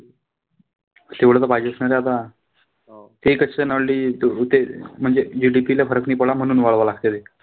तेवढं त पाहिजेच ना रे आता. ते म्हणजे GDP ला फरक नाई पडला म्हणून वाढवावं लागतंय ते.